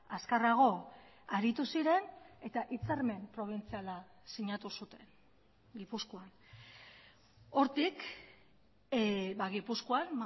azkarrago aritu ziren eta hitzarmen probintziala sinatu zuten gipuzkoan hortik gipuzkoan